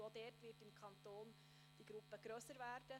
Diese Gruppe wird im Kanton ebenfalls wachsen.